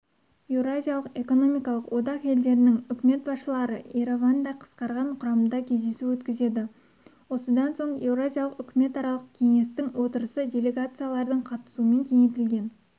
еуразиялық экономикалық одақ елдерінің үкімет басшылары ереванда қысқарған құрамда кездесу өткізеді осыдан соң еуразиялық үкіметаралық кеңестің отырысы делегациялардың қатысуымен кеңейтілген